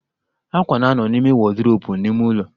Ákwà na-anọ n'ime wọdrobu n'ime ụlọ